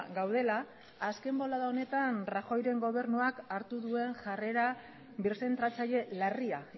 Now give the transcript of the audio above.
gaudela azken bolada honetan rajoyren gobernuak hartu duen jarrera birzentratzaile larria